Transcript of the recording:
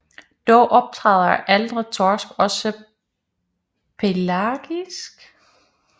Dog optræder ældre torsk også pelagisk